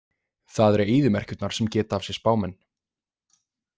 Það eru eyðimerkurnar sem geta af sér spámenn.